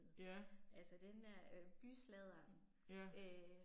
Ja. Ja